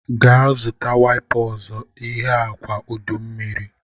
Gaa zụta wipa ọzọ. Ihe a kwa udummiri!